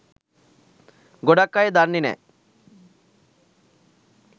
ගොඩක් අය දන්නෙ නෑ.